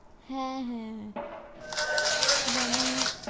হ্যাঁ হ্যাঁ হ্যাঁ, যেমন